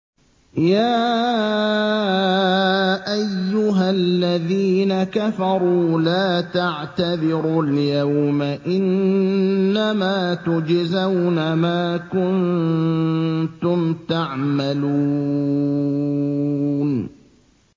يَا أَيُّهَا الَّذِينَ كَفَرُوا لَا تَعْتَذِرُوا الْيَوْمَ ۖ إِنَّمَا تُجْزَوْنَ مَا كُنتُمْ تَعْمَلُونَ